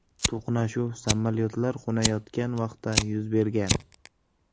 To‘qnashuv samolyotlar qo‘nayotgan vaqtda yuz bergan.